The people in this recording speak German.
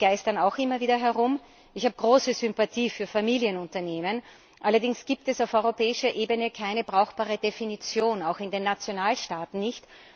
Diese geistern auch immer wieder herum Ich habe große Sympathie für Familienunternehmen, allerdings gibt es auf europäischer Ebene keine brauchbare Definition, auch in den Nationalstaaten nicht.